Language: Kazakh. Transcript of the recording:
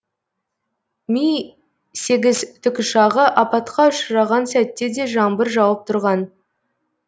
ми сегіз тікұшағы апатқа ұшыраған сәтте де жаңбыр жауып тұрған